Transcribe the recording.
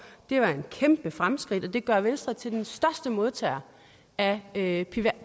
det var et kæmpe fremskridt og det gør venstre til den største modtager af af